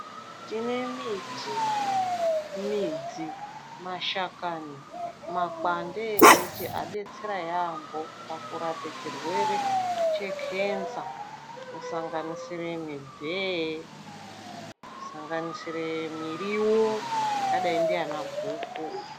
Tine miti, midzi, mashakane, makwande emiti anodetsera yampo pakurape chirwere che kenza kusanganisire mibveye, kusanganisire miriwo yakadayi nana guku.